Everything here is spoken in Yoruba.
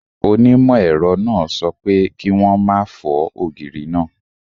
Onimọ ẹrọ náà sọ pé, ki wọn má fọ ògiri náà!